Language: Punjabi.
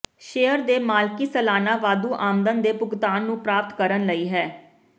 ਸ਼ੇਅਰ ਦੇ ਮਾਲਕੀ ਸਾਲਾਨਾ ਵਾਧੂ ਆਮਦਨ ਦੇ ਭੁਗਤਾਨ ਨੂੰ ਪ੍ਰਾਪਤ ਕਰਨ ਲਈ ਹੈ